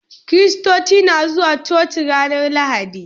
Kiristoci na zuwa coci ran lahadi